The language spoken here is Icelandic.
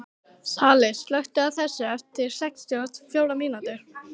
Salli, slökktu á þessu eftir sextíu og fjórar mínútur.